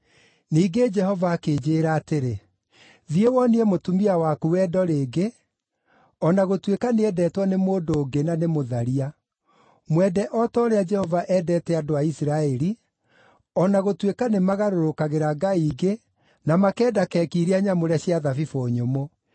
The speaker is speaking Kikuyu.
Ningĩ Jehova akĩnjĩĩra atĩrĩ, “Thiĩ, wonie mũtumia waku wendo rĩngĩ, o na gũtuĩka nĩendetwo nĩ mũndũ ũngĩ na nĩ mũtharia. Mwende o ta ũrĩa Jehova endete andũ a Isiraeli, o na gũtuĩka nĩmagarũrũkagĩra ngai ingĩ na makenda keki iria nyamũre cia thabibũ nyũmũ.”